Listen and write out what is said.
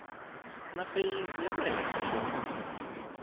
na feyisi ya le henhla